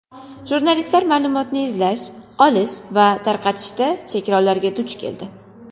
Jurnalistlar ma’lumot izlash, olish va tarqatishda cheklovlarga duch keldi.